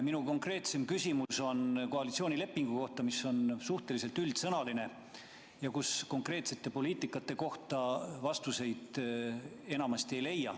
Minu konkreetsem küsimus on koalitsioonilepingu kohta, mis on suhteliselt üldsõnaline ja kus konkreetsete poliitikasuundade kohta vastuseid enamasti ei leia.